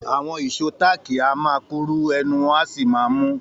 Àwọn ìṣó táákì a máa kúrú ẹnu wọn sì máa ń mú